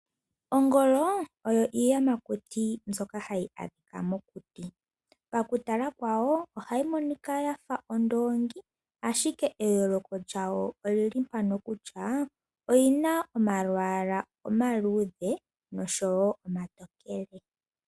Ongolo osho oshiyamakuti hashi adhika mokuti paku kalwa kayo ohayi monika yafa ondoongi. Eyooloko lyawo oondino kutya oyina omalwaala omaludhe nomatookele.